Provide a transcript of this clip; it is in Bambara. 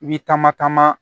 I bi taama taama